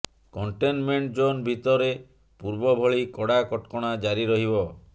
containment zone ଭିତରେ ପୂର୍ବଭଳି କଡା କଟକଣା ଜାରି ରହିବ